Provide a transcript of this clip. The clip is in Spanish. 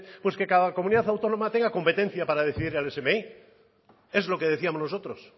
pues que cada comunidad autónoma tenga competencia para decidir el smi es lo que decíamos nosotros